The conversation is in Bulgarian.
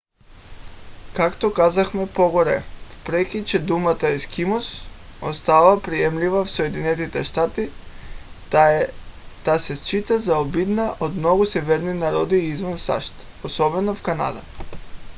както казахме по-горе въпреки че думата ескимос остава приемлива в съединените щати тя се счита за обидна от много северни народи извън сащ особено в канада